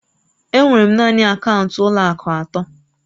Enwere m naanị akaụntụ ụlọ akụ atọ